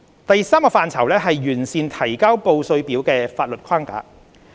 第三個範疇是完善提交報稅表的法律框架。